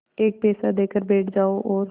एक पैसा देकर बैठ जाओ और